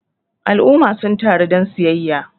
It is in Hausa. al'umma sun taru don siyayya